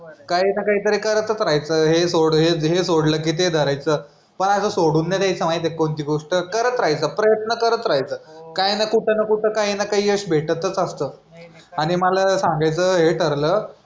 काही ना काहीतरी करतच राहायचं हे सोड हे सोडलं की ते धरायचं पण असं सोडून नाही द्यायचं माहिती आहे का कोणती गोष्ट करत राहायचं प्रयत्न करत राहायचं काय आहे ना कुठ ना कुठ काही ना काही यश भेटतच असतं आणि मला सांगायचं हे ठरलं.